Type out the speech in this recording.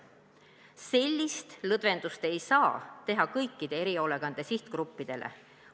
Sellist lõdvendust ei saa teha kõikide erihoolekande sihtgruppide puhul.